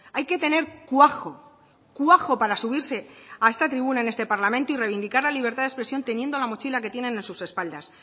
hay que tener cuajo cuajo para subirse a esta tribuna en este parlamento y reivindicar la libertad de expresión teniendo la mochila que tienen en sus espaldas